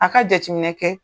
A ka jatiminɛ kɛ